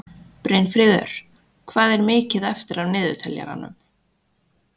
Brynfríður, hvað er mikið eftir af niðurteljaranum?